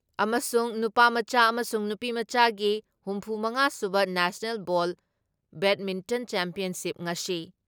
ꯑꯃꯁꯨꯡ ꯅꯨꯄꯥꯃꯆꯥ ꯑꯃꯁꯨꯡ ꯅꯨꯄꯤꯃꯆꯥꯒꯤ ꯍꯨꯝꯐꯨ ꯃꯉꯥ ꯁꯨꯕ ꯅꯦꯁꯅꯦꯜ ꯕꯣꯜ ꯕꯦꯗꯃꯤꯟꯇꯟ ꯆꯦꯝꯄꯤꯌꯟꯁꯤꯞ ꯉꯁꯤ